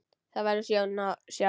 Það verður sjón að sjá.